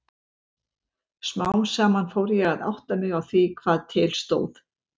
Smám saman fór ég að átta mig á því hvað til stóð.